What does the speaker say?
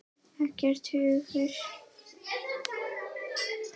Ekkert hungur.